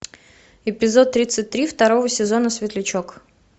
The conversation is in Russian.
эпизод тридцать три второго сезона светлячок